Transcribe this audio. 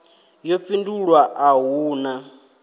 yo fhindulwa a hu na